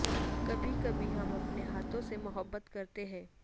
کبھی کبھی ہم اپنے ہاتھوں سے محبت کرتے ہیں